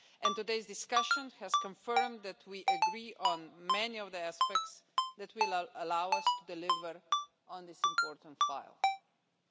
Today's discussion has confirmed that we agree on many of the aspects which will allow us to deliver on this important proposal.